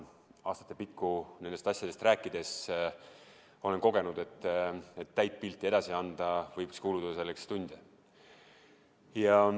Aastate jooksul nendest asjadest rääkides olen kogenud, et selleks, et täit pilti edasi anda, võiks kuluda tunde.